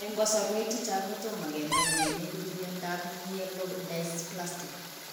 Eng' kasarwek chechang' kotomo kenai nee neipu miondop Myelodysplastic